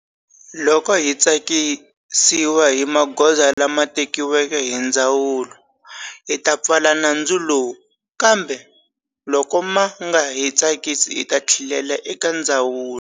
Loko hi tsakisiwa hi magoza lama tekiweke hi ndzawulo, hi ta pfala nandzu lowu, kambe loko ma nga hi tsakisi hi ta tlhelela eka ndzawulo.